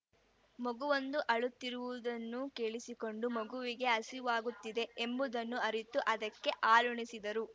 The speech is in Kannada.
ಮಗುವೊಂದು ಅಳುತ್ತಿರುವುದನ್ನು ಕೇಳಿಸಿಕೊಂಡು ಮಗುವಿಗೆ ಹಸಿವಾಗುತ್ತಿದೆ ಎಂಬುದನ್ನು ಅರಿತು ಅದಕ್ಕೆ ಹಾಲುಣಿಸಿದ್ದರು